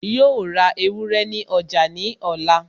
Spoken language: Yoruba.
Yóò ra ewúrẹ́ ní ọjà ní ọ̀la